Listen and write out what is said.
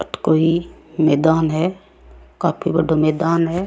अठ कोई मैदान है काफी बड़ो मैदान है।